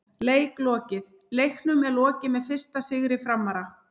Leik lokið: Leiknum er lokið með fyrsta sigri Framara!!